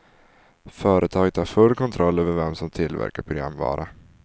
Företaget har full kontroll över vem som tillverkar programvara.